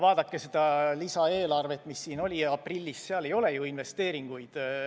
Vaadake seda lisaeelarvet, mis siin oli aprillis, seal ei ole ju investeeringuid.